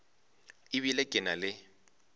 e bile ke na le